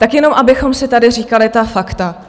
Tak jenom abychom si tady říkali ta fakta.